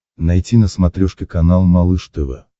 найти на смотрешке канал малыш тв